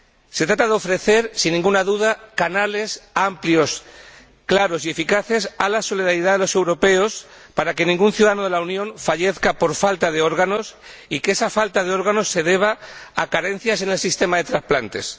Se trata de ofrecer, sin ninguna duda, canales amplios, claros y eficaces a la solidaridad de los europeos para que ningún ciudadano de la Unión fallezca por falta de órganos, y que esa falta de órganos se deba a carencias en el sistema de trasplantes.